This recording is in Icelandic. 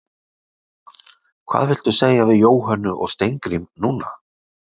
Lóa: Hvað viltu segja við Jóhönnu og Steingrím núna?